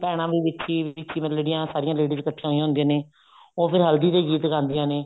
ਭੈਣਾ ਵੀ ਵਿੱਚ ਹੀ ਵਿੱਚ ਹੀ ਮਤਲਬ ਜਿਹੜੀਆਂ ਸਾਰਿਆਂ ladies ਇੱਕਠੀਆਂ ਹੋਈਆਂ ਹੁੰਦੀਆਂ ਨੇ ਉਹ ਫੇਰ ਹਲਦੀ ਦੇ ਗੀਤ ਗਾਉਂਦੀਆਂ ਨੇ